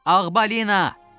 Ağbalina!